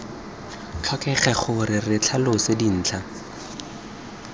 tlhokege gore re tlhalose dintlha